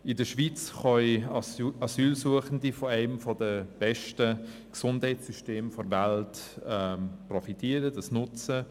In der Schweiz können Asylsuchende von einem der besten Gesundheitssysteme der Welt profitieren und dieses nutzen.